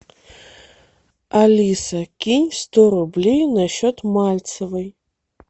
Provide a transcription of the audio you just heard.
алиса кинь сто рублей на счет мальцевой